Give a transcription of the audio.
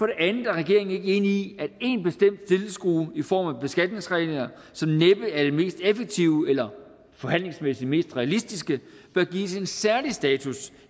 det andet er regeringen ikke enig i at én bestemt skrue i form af beskatningsregler som næppe er det mest effektive eller forhandlingsmæssigt mest realistiske bør gives en særlig status